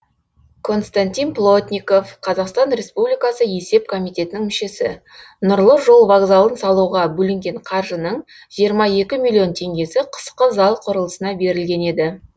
константин плотников қазақстан республикасы есеп комитетінің мүшесі нұрлы жол вокзалын салуға бөлінген қаржының жиырма екі миллион теңгесі қысқы зал құрылысына берілген еді